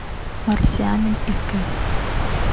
марсианин искать